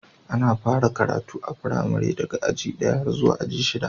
Ana fara karatu a firamari daga aji ɗaya har zuwa aji shida.